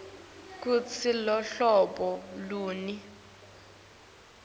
kutsi iluhlobo luni